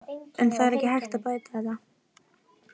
En það er ekki hægt að bæta þetta.